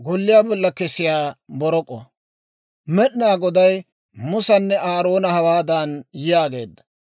Med'inaa Goday Musanne Aaroona hawaadan yaageedda,